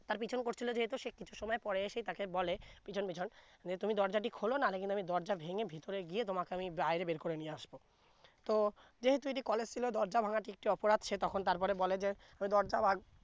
তার পিছন করছিলো যেহেতু সে কিছু সময় পরে এসে বলে পিছন পিছন তুমি দরজাটি খলো না হলে কিন্তু দরজা ভেঙ্গে ভিতরে গিয়ে তোমাকে আমি বাইরে বের করে নিয়ে আসবো তো যেহেতু এটি college ছিলো দরজা ভেঙ্গ একটু অপরাধ সে তখন তার পরে বলে যে দরজা ভাগ